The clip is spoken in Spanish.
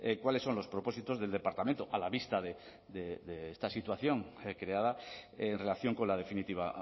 cuáles son los propósitos del departamento a la vista de esta situación creada en relación con la definitiva